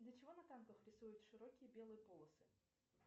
для чего на картах рисуют широкие белые полосы